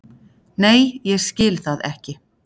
Nei ég skil það ekki.